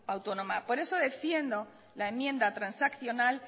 autónoma por eso defiendo la enmienda transaccional